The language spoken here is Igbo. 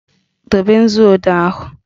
Dobe nzuodee ahụ!